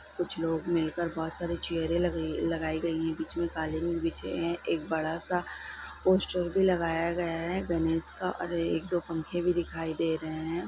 कुछ लोग मिलकर बहुत सारी चेयर लगइ-लगाई गई है| बीच मे कलिंद बिछे है| एक बड़ा सा पोस्टर भी लगाया गया है गणेश का और एक दो पंखे भी दिखाई दे रहे है।